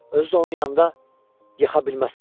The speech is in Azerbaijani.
Özü də onun yanında yıxa bilməzsən.